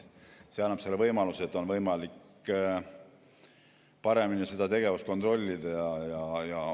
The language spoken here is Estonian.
See annab võimaluse, et on võimalik paremini seda tegevust kontrollida.